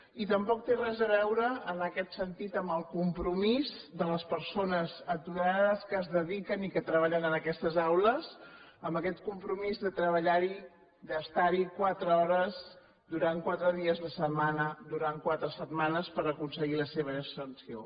i tampoc té res a veure en aquest sentit amb el compromís de les persones aturades que es dediquen i que treballen en aquestes aules amb aquest compromís de treballar hi d’estar hi quatre hores durant quatre dies a la setmana durant quatre setmanes per aconseguir la seva inserció